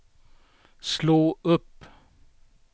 slå upp